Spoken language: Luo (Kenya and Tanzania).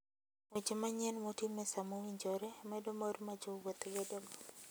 Weche manyien motim e sa mowinjore, medo mor ma jowuoth bedogo.